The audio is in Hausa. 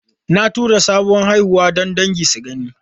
Na tura sabon haihuwa don dangi su gani.